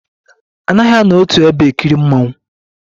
A naghi anọ otu ebe ekiri mmonwu